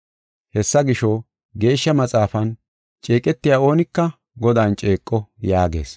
Hessa gisho, Geeshsha Maxaafan, “Ceeqetiya oonika Godan ceeqo” yaagees.